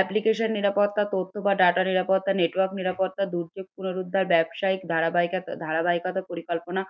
Application নিরাপত্তা তথ্য বা data নিরাপত্তা, network নিরাপত্তা, দুর্যোগ পুনরুদ্ধার ব্যবসায়িক ধারাবাহিক একটা ধারাবাহিকতা পরিকল্পনা